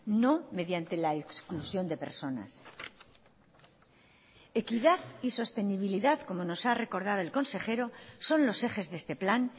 no mediante la exclusión de personas equidad y sostenibilidad como nos ha recordado el consejero son los ejes de este plan